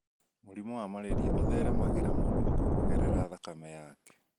Mũrimũ wa malaria ũtheremagĩra mũndũ ũngĩ kũgerera thakame yake